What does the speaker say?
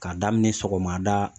K'a daminɛ sɔgɔmada